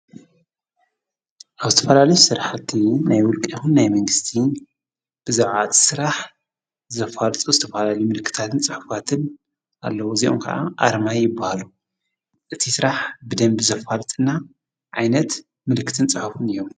ኣውስተፈላል ሠራሕቲ ናይ ውልቂ ኹን ናይ መንግሥቲ ብዘውዓት ሥራሕ ዘፋልጽ ወስተፍላል ምልክታትን ጸሕፍትን ኣለዉ ዚዑም ከዓ ኣረማይ ይበሃሉ እቲ ሥራሕ ብደምቢ ዘፋልጥና ዓይነት ምልክትን ጸሕፉን እዮም።